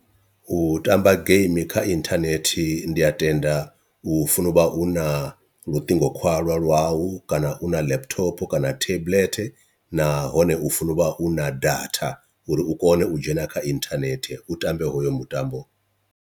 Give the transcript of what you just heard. U tamba game kha inthanethi ndi a tenda u funo uvha u na luṱingo khwalwa lwau kana u na laptop kana tablet, nahone u funa uvha u na datha uri u kone u dzhena kha inthanethe u tambe hoyo mutambo.